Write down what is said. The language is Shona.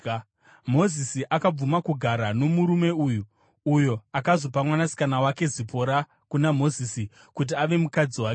Mozisi akabvuma kugara nomurume uyu, uyo akazopa mwanasikana wake Zipora kuna Mozisi kuti ave mukadzi wake.